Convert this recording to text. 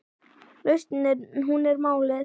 Lausnin hún er málið.